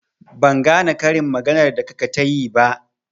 Ban gane karin maganar da kaka tayi ba.